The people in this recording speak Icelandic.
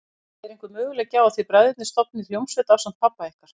Hödd: Er einhver möguleiki á að þið bræðurnir stofnið hljómsveit ásamt pabba ykkar?